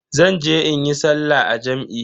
Zan je in yi sallah a jam'i.